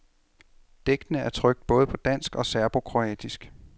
Digtene er trykt både på dansk og serbokroatisk.